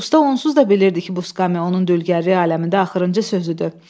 Usta onsuz da bilirdi ki, bu skamya onun dülgərlik aləmində axırıncı sözüdür.